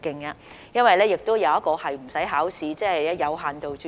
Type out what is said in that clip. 另一途徑是無需考試的，即有限度註冊。